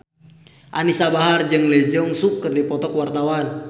Anisa Bahar jeung Lee Jeong Suk keur dipoto ku wartawan